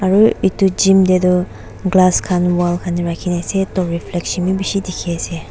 aru etu gym khan te tu glass khan wall kane rakhi kina ase toh reflection bisi dekhi ase.